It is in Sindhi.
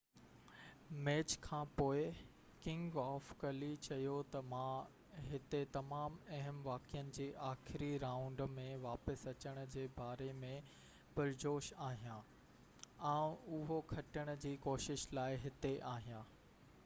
ميچ کانپوءِ ڪنگ آف ڪلي چيو ته مان هتي تمام اهم واقعن جي آخري رائونڊ ۾ واپس اچڻ جي باري ۾ پرجوش آهيان آئون اهو کٽڻ جي ڪوشش لاءِ هتي آهيان